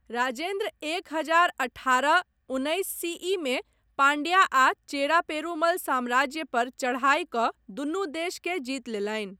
राजेन्द्र एक हजार अठारह उन्नैस सीईमे पाण्ड्या आ चेरा पेरुमल साम्राज्य पर चढ़ाइ कऽ दुनू देशकेँ जीति लेलनि।